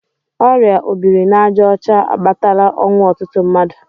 Ọrịa obirinajaọcha akpatala ọnwụ ọtụtụ mmadụ.